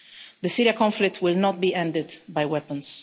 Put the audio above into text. The Syria conflict will not be ended by weapons.